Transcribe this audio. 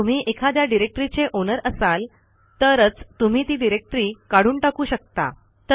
जर तुम्ही एखाद्या डिरेक्टरीचे ओनर असाल तरच तुम्ही ती डिरेक्टरी काढून टाकू शकता